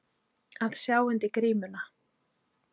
Að sjá undir grímuna